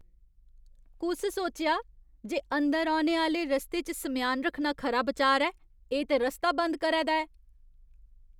कुस सोचेआ जे अंदर औने आह्‌ले रस्ते च सम्यान रक्खना खरा बचार ऐ? एह् ते रस्ता बंद करै दा ऐ।